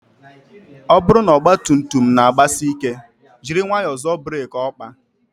Ọ bụrụ na ọgba tum tum na agbasị ike, jiri nwayọọ zoọ burek okpa